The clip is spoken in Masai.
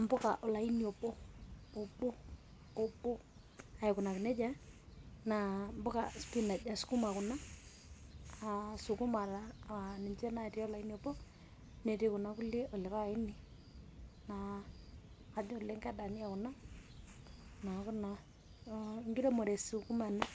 impuka olaini obo, obo, obo, aikunaki nejia naa mpuka spinach kuna ,sukuma ninche natii olaini obo ,netii kuna kulie olaini naa kajo ke dani kuna niaku naa enkiremore e sukuma ena